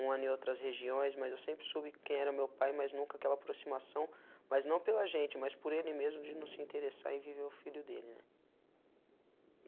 Um ano em outras regiões, mas eu sempre soube quem era meu pai, mas nunca aquela aproximação, mas não pela gente, mas por ele mesmo de não se interessar em viver o filho dele, né.